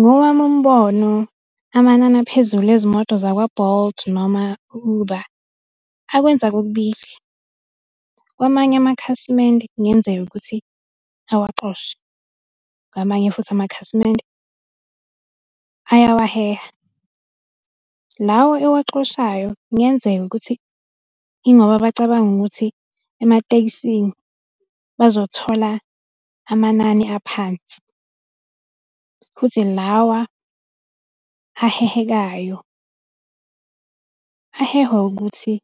Ngowami umbono, amanani aphezulu ezimoto zakwa-Bolt noma u-Uber, akwenza kokubili. Kwamanye amakhasimende, kungenzeka ukuthi awaxoshe, ngamanye futhi amakhasimende, ayawaheha. Lawa ewaxoshayo kungenzeka ukuthi ingoba bacabanga ukuthi ematekisini bazothola amanani aphansi, futhi lawa ahehekayo. Ahehwa ukuthi